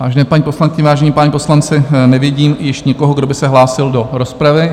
Vážené paní poslankyně, vážení páni poslanci, nevidím již nikoho, kdo by se hlásil do rozpravy.